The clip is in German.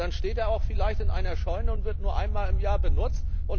Und dann steht er vielleicht in einer Scheune und wird nur einmal im Jahr benutzt.